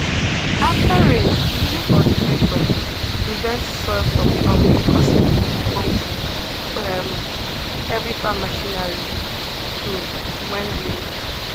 after rain using cultivator prevents soil from clumping causing difficulty for um heavy farm machinery um when wheeling